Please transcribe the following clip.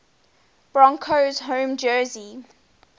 broncos home jersey